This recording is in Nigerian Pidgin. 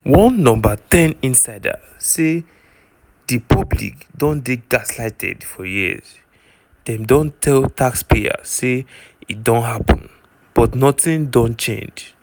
one no ten insider say di "public don dey gaslighted for years – dem don tell taxpayers say e dey happun but nothing don change".